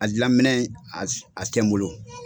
A dilanminɛn a tɛ n bolo.